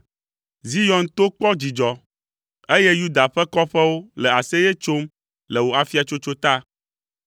Zion to kpɔ dzidzɔ, eye Yuda ƒe kɔƒewo le aseye tsom le wò afiatsotso ta.